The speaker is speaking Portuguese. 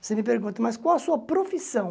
Você me pergunta, mas qual a sua profissão?